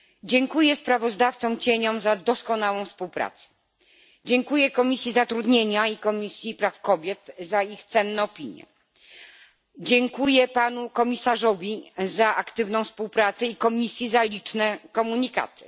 Dziękuję kontrsprawozdawcom za doskonałą współpracę, dziękuję Komisji Zatrudnienia i Komisji Praw Kobiet za ich cenne opinie, dziękuję Panu Komisarzowi za aktywną współpracę i Komisji za liczne komunikaty.